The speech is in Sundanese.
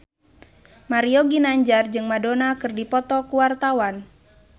Mario Ginanjar jeung Madonna keur dipoto ku wartawan